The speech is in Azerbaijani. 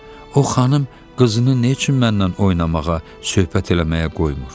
"Baba, o xanım qızını nə üçün məndən oynamağa, söhbət eləməyə qoymur?"